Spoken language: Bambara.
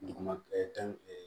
Duguma fɛn